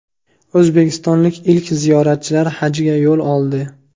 O‘zbekistonlik ilk ziyoratchilar hajga yo‘l oldi.